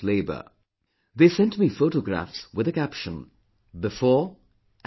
They sent me photographs with a caption 'Before and After'